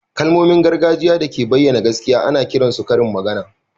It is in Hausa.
Kalmomin gargajiya da ke bayyana gaskiya ana kiran su karin magana